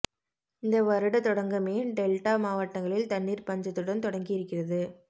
இந்த வருட தொடங்கமே டெல்டா மாவட்டங்களில் தண்ணீர் பஞ்சத்துடன் தொடங்கி இருக்கிறது